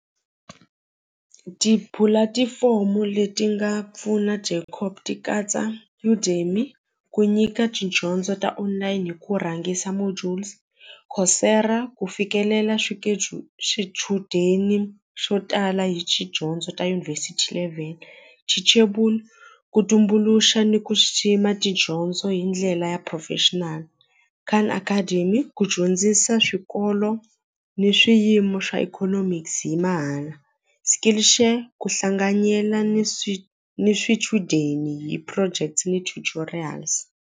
Tipulatifomo leti nga pfuna Jacop ti katsa ku nyika tidyondzo ta online hi ku rhangisa modules ku fikelela swichudeni swo tala hi tidyondzo ta yunivhesithi level teachable ku tumbuluxa ni ku xixima tidyondzo hi ndlela ya professional academy ku dyondzisa swikolo ni swiyimo swa economics hi mahala skill share ku hlanganyela ni swi ni swichudeni hi projects ni tutorials.